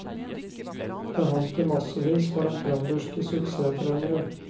Det holdt i massevis for den trønderske suksesstreneren.